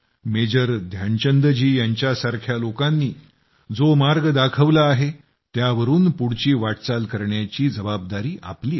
major Dhyanchand ji यांच्यासारख्या लोकांनी जो मार्ग दाखवला आहे त्यावरून पुढची वाटचाल करण्याची जबाबदारी आपली आहे